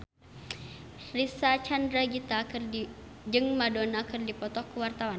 Reysa Chandragitta jeung Madonna keur dipoto ku wartawan